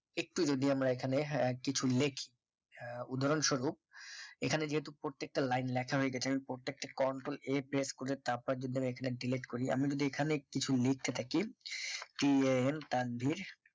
একটু যদি আমরা এখানে হ্যাঁ কিছু লিখি উদাহরণস্বরূপ এখানে যেহেতু প্রত্যেকটা লাইন লেখা হয়ে গেছে আমি প্রত্যেকটা control a press করে তারপরে যদি আমি এখানে delete করি আমি যদি এখানে কিছু লিখতে থাকি tan তানভীর